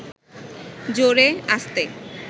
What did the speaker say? জোরে, আস্তে